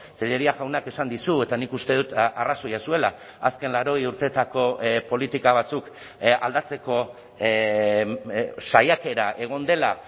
tellería jaunak esan dizu eta nik uste dut arrazoia zuela azken laurogei urteetako politika batzuk aldatzeko saiakera egon dela